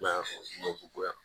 I ma ye ko ya